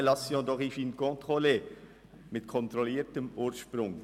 Appellation d’origine contrôlée» bezeichnet einen Tourismus mit kontrolliertem Ursprung.